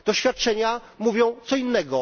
Doświadczenia mówią co innego.